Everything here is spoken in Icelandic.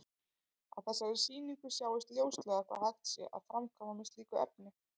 Á þessari sýningu sjáist ljóslega hvað hægt sé að framkvæma með slíku efni.